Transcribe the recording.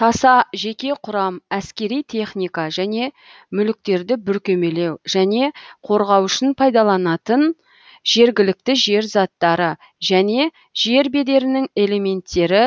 таса жеке құрам әскери техника және мүліктерді бүркемелеу және қорғау үшін пайдаланатын жергілікті жер заттары және жер бедерінің элементтері